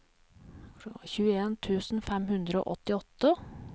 tjueen tusen fem hundre og åttiåtte